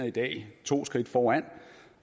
i dag to skridt foran